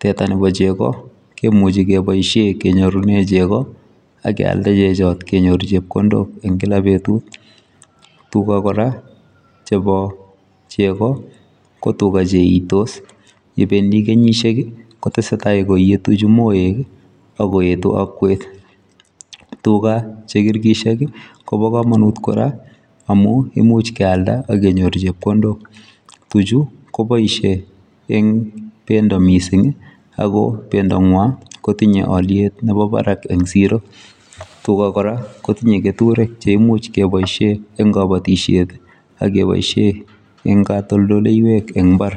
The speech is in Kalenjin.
,teta nebo chegoo kemuchei kebaisheen kenyorunen chegoo ak keyaldaa kenyorunen chepkondook eng kila betut ,tugaa kora chebo chegoo ko tugaah che itos ,yebendii kenyisiek kotesetai koyetuu moek ako koetu akwet tugaah che kirkirsheek ii kobaa kamanuut koraa amuun imuuch keyaldaa ak kenyoor chepkondook, tuujuu kobaisheen eng bendo missing ako bendo ngwaan kotinyei aliet nemii Barak en siro ,tugaah kora kotinyei ketureek che nyaluu kebaisheen eng kabatisyeet ak kebaisheen eng katoltoleiweek eng mbar.